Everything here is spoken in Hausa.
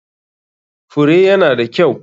Fure ya na da kyau.